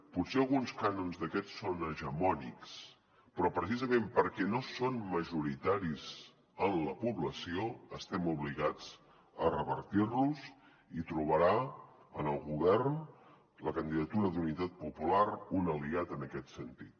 potser alguns cànons d’aquests són hegemònics però precisament perquè no són majoritaris en la població estem obligats a revertir los i hi trobarà en el govern la candidatura d’unitat popular un aliat en aquest sentit